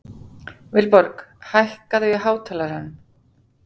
Vilborg, hækkaðu í hátalaranum.